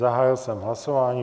Zahájil jsem hlasování.